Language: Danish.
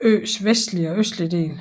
øens vestlige og østlige del